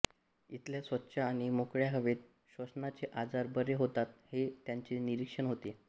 इथल्या स्वच्छ आणि मोकळ्या हवेत श्वसनाचे आजार बरे होतात हे त्यांचे निरीक्षण होते